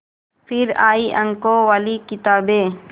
फिर आई अंकों वाली किताबें